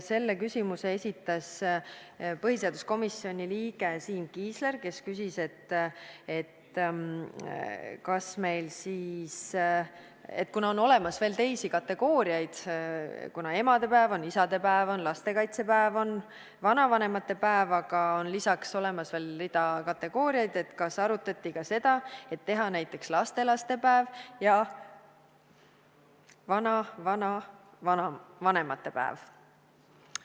Selle küsimuse esitas põhiseaduskomisjoni liige Siim Kiisler, kes küsis, et on emadepäev, isadepäev, lastekaitsepäev, vanavanemate päev, aga on olemas veel rida kategooriaid, et kas arutati ka seda, et teha näiteks lastelastepäev ja vanavanavanemate päev.